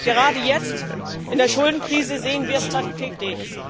Gerade jetzt in der Schuldenkrise sehen wir das tagtäglich.